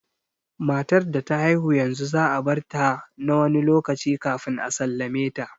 Matar da ta haihu yanzu za a barta na wani lokaci kafin a sallame ta